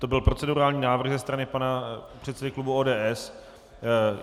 To byl procedurální návrh ze strany pana předsedy klubu ODS.